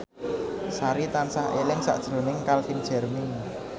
Sari tansah eling sakjroning Calvin Jeremy